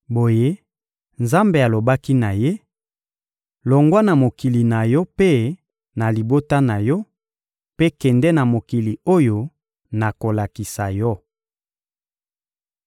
Boye, Nzambe alobaki na ye: «Longwa na mokili na yo mpe na libota na yo, mpe kende na mokili oyo nakolakisa yo!»